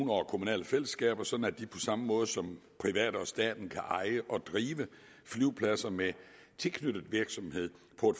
og kommunale fællesskaber sådan at de på samme måde som private og staten kan eje og drive flyvepladser med tilknyttet virksomhed på